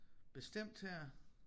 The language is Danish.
Bestemt her